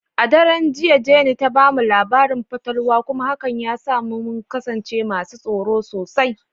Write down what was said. A daren jiya, Jane ta mu labarin fatalwa kuma hakan ya sa muka tsorata sosai.